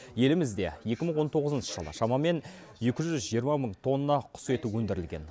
елімізде екі мың он тоғызыншы жылы шамамен екі жүз жиырма мың тонна құс еті өндірілген